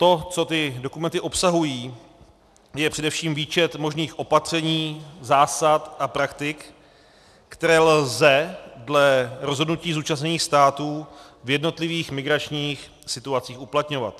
To, co ty dokumenty obsahují, je především výčet možných opatření, zásad a praktik, které lze dle rozhodnutí zúčastněných států v jednotlivých migračních situacích uplatňovat.